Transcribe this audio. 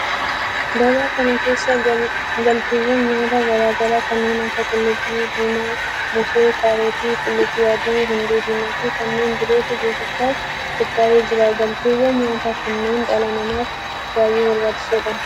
Gabaa kana keessa galteewwan nyaataa garaa garaa kanneen akka qullubbii diimaa, moosee, kaarotii, qullubbii adii, hundee diimaa fi kanneen birootu gurgurtaaf qophaa'ee jira. Galteewwan nyaataa kunneen dhala namaaf baayyee barbaachisoodha.